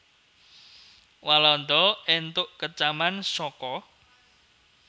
Walanda entuk kecaman saka